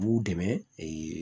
U b'u dɛmɛ